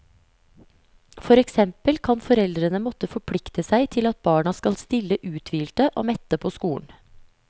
For eksempel kan foreldrene måtte forplikte seg til at barna skal stille uthvilte og mette på skolen.